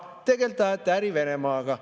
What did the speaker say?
Ei, tegelikult ajate äri Venemaaga.